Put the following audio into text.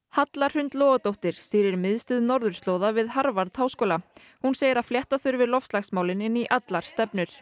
Halla Hrund Logadóttir stýrir miðstöð norðurslóða við Harvard háskóla hún segir að flétta þurfi loftslagsmál inn í allar stefnur